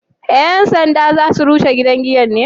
Yan sanda za su rushe gidan giya ne?